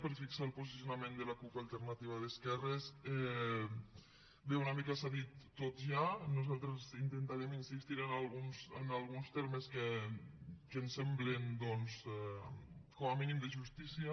per fixar el posicionament de la cup alternativa d’esquerres bé una mica s’ha dit tot ja nosaltres intentarem insistir en alguns termes que ens semblen doncs com a mínim de justícia